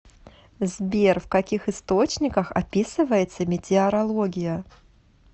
сбер в каких источниках описывается метеорология